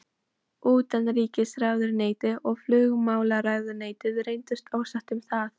Utanríkisráðuneytið og flugmálaráðuneytið reyndust ósátt um það.